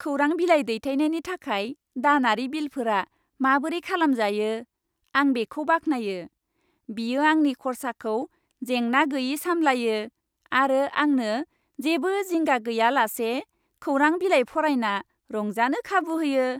खौरां बिलाइ दैथायनायनि थाखाय दानारि बिलफोरा माबोरै खालामजायो, आं बेखौ बाख्नायो। बियो आंनि खर्साखौ जेंना गैयै सामलायो आरो आंनो जेबो जिंगा गैयालासे खौरां बिलाइ फरायना रंजानो खाबु होयो।